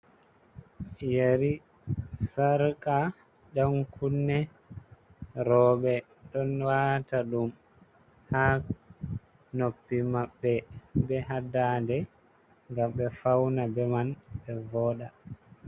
Yeri, sarka, ɗan kunne, rooɓe don wata ɗum ha noppi maɓɓe be ha dade gam ɓe fauna be man ɓe voda.